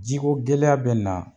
Ji ko gɛlɛya be na